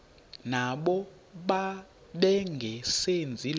nabo bengazenzi lutho